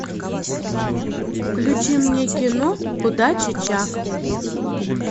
включи мне кино удачи чак